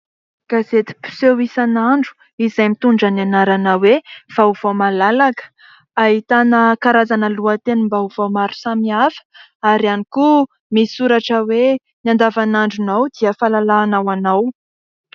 Gazeti-piseho isanandro izay mitondra ny anarana hoe vaovao malalaka. Ahitana karazana lohatenim-baovao maro samihafa ary ihany koa misy soratra hoe ny andavanandronao dia fahalalana ho anao.